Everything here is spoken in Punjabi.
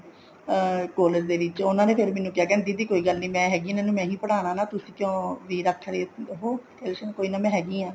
ਅਮ collage ਦੇ ਵਿੱਚ ਉਹਨਾ ਨੇ ਫ਼ੇਰ ਮੈਨੂੰ ਕਿਹਾ ਦੀਦੀ ਕੋਈ ਗੱਲ ਨੀ ਮੈਂ ਹੈਗੀ ਹਾਂ ਇਹਨਾ ਨੂੰ ਮੈਂ ਹੀ ਪੜਾਉਣਾ ਵੀ ਤੁਸੀਂ ਕਿਉ ਨੀ ਰੱਖ ਰਹੇ ਉਹ ਕੋਈ ਨਾ ਮੈਂ ਹੈਗੀ ਹਾਂ